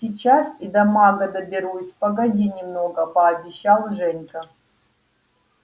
сейчас и до мага доберусь погоди немного пообещал женька